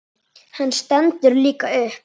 Hann stendur líka upp.